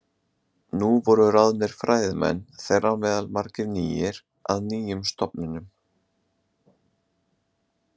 Nú voru ráðnir fræðimenn, þeirra á meðal margir nýir, að nýjum stofnunum.